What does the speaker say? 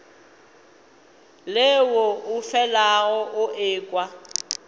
leo o felago o ekwa